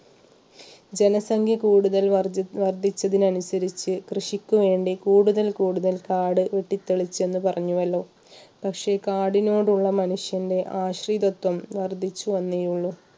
ജനസംഖ്യ കൂടുതൽ വർദ്ധി വർദ്ധിച്ചതിനനുസരിച്ച് കൃഷിക്ക് വേണ്ടി കൂടുതൽ കൂടുതൽ കാട് വെട്ടിത്തെളിച്ചു എന്ന് പറഞ്ഞുവല്ലോ പക്ഷേ കാടിനോടുള്ള മനുഷ്യൻറെ ആശ്രയത്വം വർദ്ധിച്ചു വന്നയുള്ളൂ